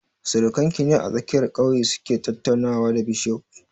Surakan ki ne a tsakiyar ƙauye su ke tattaunawa da bishof?